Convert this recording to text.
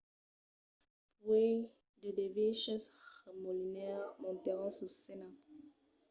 puèi de derviches remolinaires montèron sus scèna